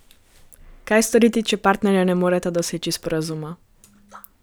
Kaj storiti, če partnerja ne moreta doseči sporazuma?